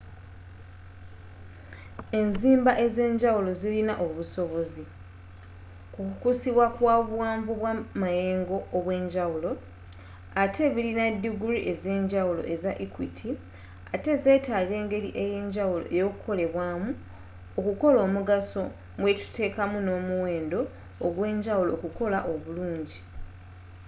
enzimba ezenjawulo zilina obusobozi, kukusikibwa kwa buwanvu bwa mayengo obwenjawulo atte bilina diguri ezenjawulo eza equiti atte zetaga engeli eyanjawulo okukolebwamu okukola omugaso mu byetutekamu no'muwendo ogwenjawulo okukola obulungi